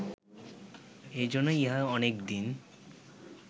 এইজন্য ইহা অনেক দিন